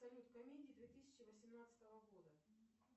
салют комедии две тысячи восемнадцатого года